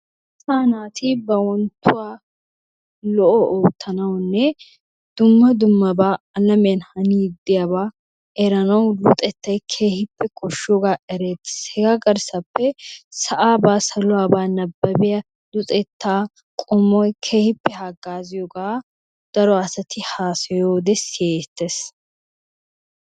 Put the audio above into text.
Asa naati ba wontuwa lo'o ottanawunne dumma dumma ha alamiayan hannidi deiyaba eranawu luxettay kehippe koshiyoga erettes. egaa garsappe saluwabba sa'aba nababiyaa luxettaa qommoy kehippe hagaziyoga daro assatti hasayigaa siyettes.